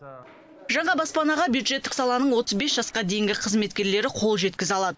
жаңа баспанаға бюджеттік саланың отыз бес жасқа дейінгі қызметкерлері қол жеткізе алады